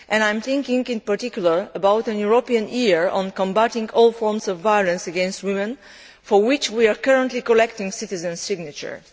I am thinking, in particular, about a European year on combating all forms of violence against women, for which we are currently collecting citizens' signatures.